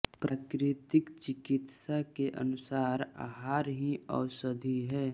प्राकृतिक चिकित्सा के अनुसार आहार ही औषधि है